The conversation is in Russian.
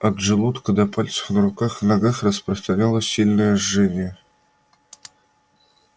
от желудка до пальцев на руках и ногах распространялось сильное жжение